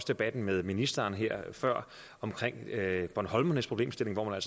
debatten med ministeren før om bornholmernes problemstilling hvor man